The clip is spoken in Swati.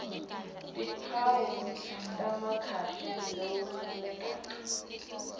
timphawu temkhuhlane lowetayelekile